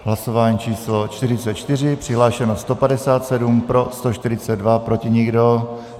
Hlasování číslo 44, přihlášeno 157, pro 142, proti nikdo.